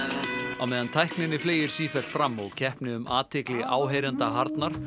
á meðan tækninni fleygir sífellt fram og keppni um athygli áheyrenda harðnar